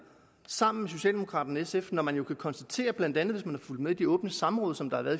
sammen med socialdemokraterne og sf når man jo kan konstatere blandt andet hvis man har fulgt med i de åbne samråd som der har været